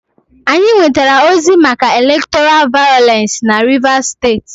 Anyị nwetara ozi maka elektọra vayọlensị na Rivas steeti.